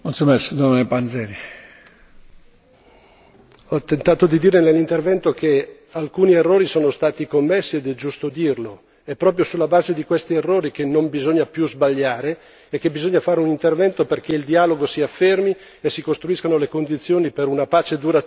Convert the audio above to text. Signor Presidente, onorevoli colleghi, ho tentato di dire nell'intervento che alcuni errori sono stati commessi ed è giusto dirlo! È proprio sulla base di questi errori che non bisogna più sbagliare e che bisogna fare un intervento perché il dialogo si affermi e si costruiscano le condizioni per una pace duratura in quel paese.